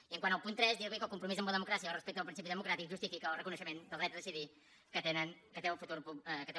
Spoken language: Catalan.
i quant al punt tres dirli que el compromís amb la democràcia el respecte al principi democràtic justifica el reconeixement del dret a decidir que té